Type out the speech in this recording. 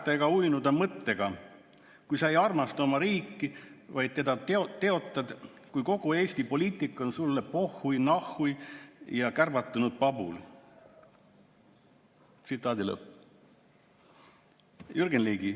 ] ärgata ega uinuda mõtteta, kui sa ei armasta oma riiki, vaid teda teotad, kui kogu Eesti poliitika on sulle pohhui, nahhui ja kärbatanud pabul.